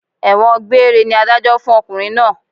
Ẹ̀wọ̀n gbéére ni Adájọ́ fún ọkùnrin náà